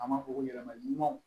An b'a fɔ ko yɛlɛmaw